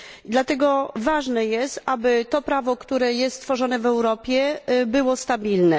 Dlatego ważne jest, aby to prawo, które jest tworzone w Europie, było stabilne.